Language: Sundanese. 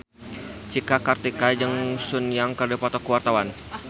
Cika Kartika jeung Sun Yang keur dipoto ku wartawan